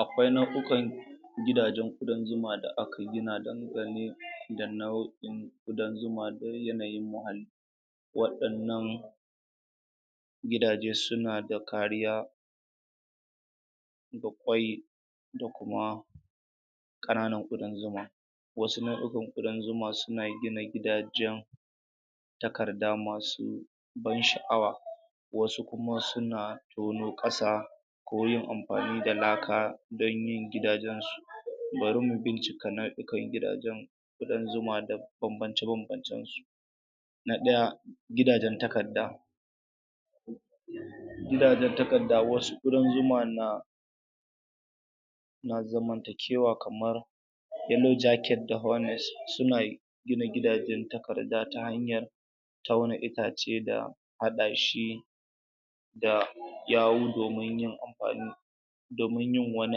akwai nauyukan gidajen ƙudan zuman da aka gina da kuranye wannan ƙudan zuma dole yai muna haka waɗannan gidaje suna da kariya da tsayi da kuma ƙananan ƙudan zuma wasuma ƙudan zuma suna gina gidajen takarda masu don sha'awa wasu kuma suna tono ƙasa ko yin amfani da laka danyin gidajen bari mu bincika nauyikan gidajen ƙudan zuma da bambance bambancen su na ɗaya gidajen takarda gidajen takarda wasu ƙudan zuma na na zamantakewa kamar elojaket daga wannan sunayi gina gidajen takarda ta hanyar taunuka ce da haɗa shi da yawu domin yin amfanin domin yin wani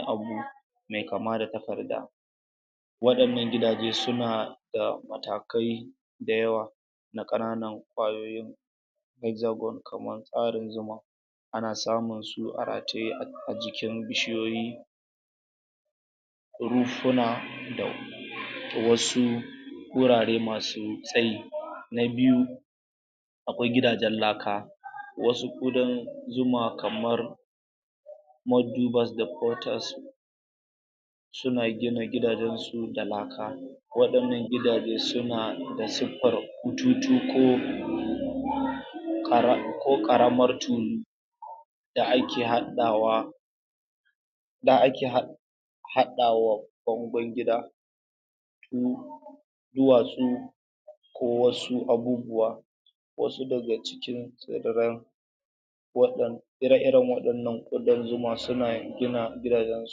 abu mai kama da takarda wayannan gidajen suna da matakai da yawa na ƙananan ƙwayoyi zazzagon kamar ƙarin zuma ana samun su a rataye a jikin bishiyoyi kurufuna dau wasu gurare masu tsayi na biyu akwai gidajen laka wasu ƙudan zuma kamar most do but the protest suna gina gidajen su ne da laka waɗannan gidaje suna da suffar kututu ko ko ko ƙara ƙaramar fuse da ake haɗawa da ake haɗa haɗawar don dai gida shi duwatsu ko wasu abubuwa wasu daga cikin tsedaren waɗanda ire iren waɗannan ƙudan zuma suna gina gidajen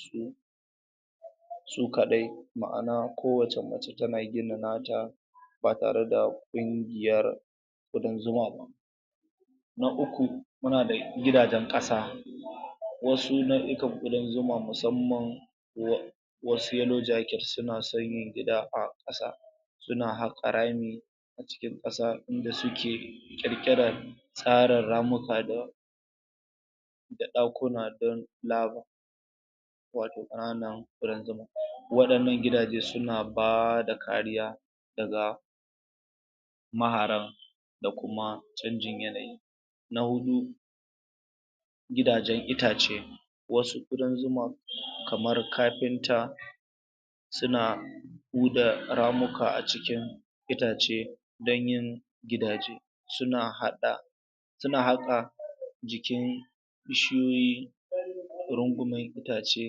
su su kaɗai ma'ana ko wacce mace tana gina nata ba tareda kungiyar ƙudan zuma ba na uku muna da gidajen tafa wasu nauyukan ƙudan zuma musamman wasu yellow jacket nasan yin gida a kasa suna haƙa rami cikin ƙasa inda suke ƙirkiren tsara ramuka da wannan da ɗakuna ɗayen labu sake tsana rumbuna waɗannan gidaje suna bada kariya daga maharan da kuma engine millet na huɗu gidajen itace wasu ƙudan zuman kamar kafinta suna ida ramuka a cikin itace danyin gidaje suna haɗa suna haka jikin bishiyoyi na ƙudan zuman dace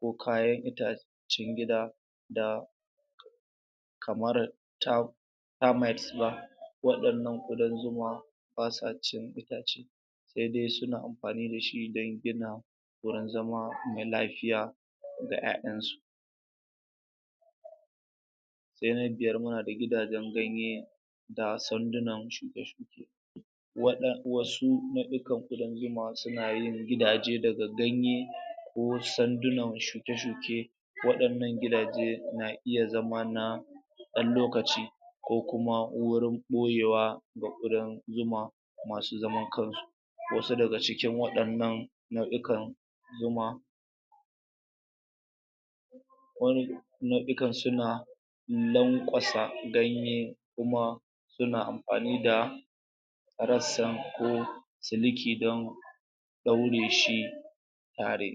dogayen mutane cikin gida da kamar ta termites waɗannan ƙudan zuma basa cin itace sai dai suna amfani dashi don gina gurin zama na lafiya da ƴa'ƴan su sai na biyar muna da gidajen ganye da sanduna waɗan wasu nauyukan ƙudan zuma suna yin gidaje daga ganye ko sandunan shi ta shuke waɗannan gidaje na iya zama na dan lokaci ko kuma uwar ɓoyewa da irin zuma masu zaman kansu wasu daga cikin waɗannan nauyukan zuma run gate nauyukan suna suyi lankwasa ganye kuma suna amfani da rassan ko suji ƙidan daure shi fare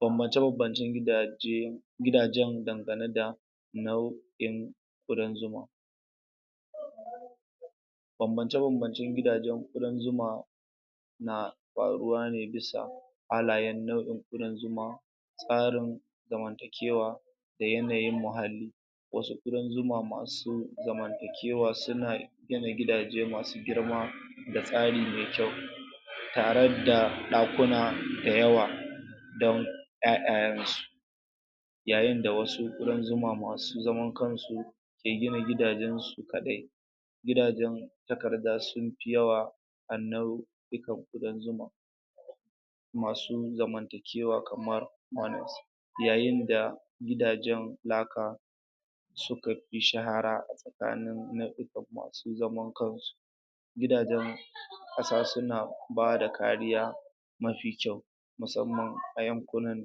kuma juɓajin gidaje gidajen dangane da nauyin in ƙudan zuma bambance bambance gidajen ƙudan zuma na faruwa ne bisa halayen nauyin ƙudan zuma farin zamantakewa da yanayin muhalli wasu ƙudan zuma masu zamantakewa suna gina gidaje masu girma da tsari mai kyau tareda ɗakuna dayawa dan ƴa'ƴayen su yayinda da wasu ƙudan zuma masu zaman kansu ke gina gidajen mai gidajen suka riga su yawa a nauyukan ƙudan zuma masu zama kewa kamar magot yayinda gidajen laka suka fi shahara kamin nauyukan masu zaman kansu gidajen ƙasa suna bada kariya mafi kyau musamman a yankunan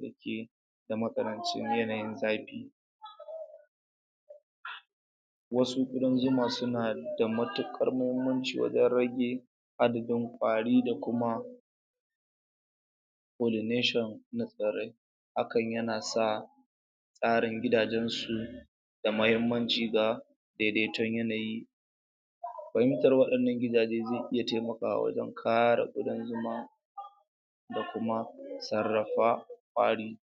dake da matsanancin yawan daki wasu ƙudan zuma suna da matuƙar muhimmanci wajen rage arzikin kwari da kuma for the nation da sauran hakan yana sa tsarin gidajen su da mahimmanci da daidaiton yanayi fahimtar waɗannan gidaje zai iya taimakawa wajen tsara gidan zuma da kuma rumfa kwari